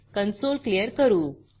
console clear करू